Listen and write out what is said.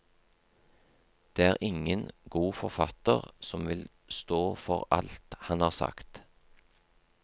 Det er ingen god forfatter som vil stå for alt han har sagt.